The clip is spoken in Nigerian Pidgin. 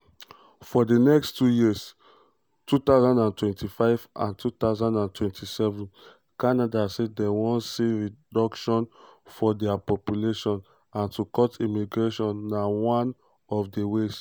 for di next two years (2025-2027) canada say dem wan see reduction for dia population and to cut immigration na one of di ways.